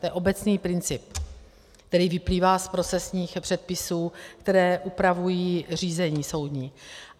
To je obecný princip, který vyplývá z procesních předpisů, které upravují řízení soudní.